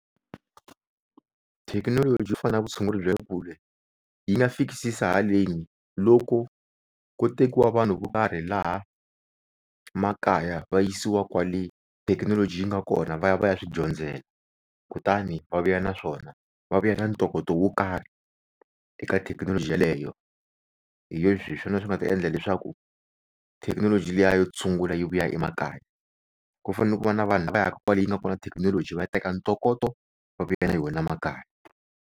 Thekinoloji yo fana na vutshunguri bya le kule yi nga fikisisa haleni loko ko tekiwa vanhu vo karhi laha makaya va yisiwa kwale thekinoloji yi nga kona va ya va ya swidyondzela. Kutani va vuya naswona va vuya na ntokoto wo karhi eka thekinoloji yaleyo, hi swona swi nga ta endla leswaku thekinoloji liya yo tshungula yi vuya emakaya. Ku fanele ku va na vanhu lava ya ka kwale yi nga kona thekinoloji va ya teka ntokoto va vuya na yona makaya.